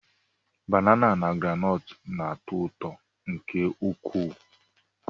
Banana na groundnut na-atọ ụtọ nke ukwuu